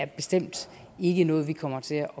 bestemt ikke er noget vi kommer til at